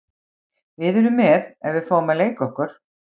Við erum með ef við fáum að leika okkur.